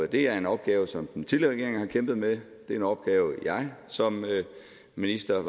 det er en opgave som den tidligere regering har kæmpet med det er en opgave jeg som minister